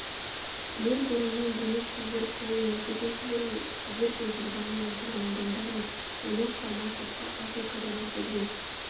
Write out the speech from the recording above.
мельбурннан демек сіздер құл емес екенсіздер ғой біздер пенсильванияның тұрғын адамдарымыз оны құрама штатқа африкадан әкелген